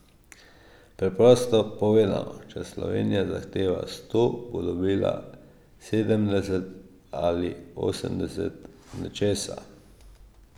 Preprosto povedano, če Slovenija zahteva sto, bo dobila sedemdeset ali osemdeset nečesa.